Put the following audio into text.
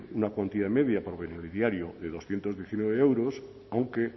una cuantía media por beneficiario de doscientos diecinueve euros aunque